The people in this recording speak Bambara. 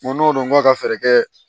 Ko n'olu ka fɛɛrɛ kɛ